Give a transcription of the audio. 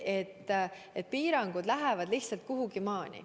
Lihtsalt piirangud on võimalikud teatud maani.